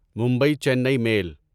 Mumbai Chennai میل